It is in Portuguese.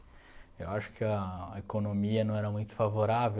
Eu acho que a economia não era muito favorável.